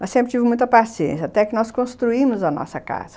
Mas sempre tive muita paciência, até que nós construímos a nossa casa.